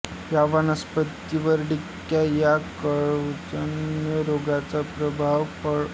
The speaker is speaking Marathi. या वनस्पतीवर डिंक्या या कवकजन्य रोगाचा प्रादुर्भाव होतो